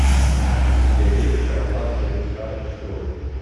у тебя есть караваджо душа и кровь